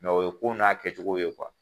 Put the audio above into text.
Mɛ o ye ko n'a kɛcogo ye kuwa